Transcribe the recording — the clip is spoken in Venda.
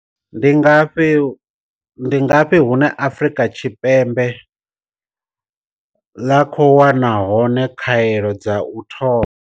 Ndi ngafhi hune Afrika Tshipembe ḽa khou wana hone khaelo dza u thoma?